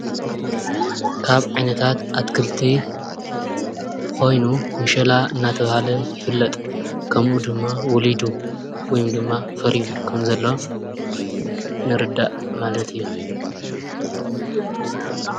ካብ ዓይነታት ኣትክልቲ ኾይኑ ምሸላ እናተብሃለ ይፍለጥ ከምኡ ድማ ወሊዱ ወይ ድማ ፈሪዩ ከምዘለ ንርዳእ ማለት እዮ።